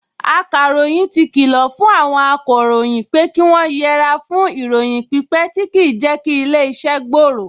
Akàròyìn ti kìlọ̀ fún àwọn akọ̀ròyìn pé kí wọ́n yẹre fún ìròyìn pípẹ tí kì í jẹ́ kí ilé-iṣẹ́ gbòòrò